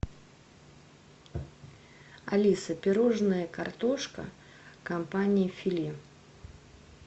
алиса пирожное картошка компании филе